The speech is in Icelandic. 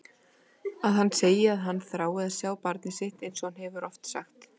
Að hann segi að hann þrái að sjá barnið sitt einsog hann hefur oft sagt.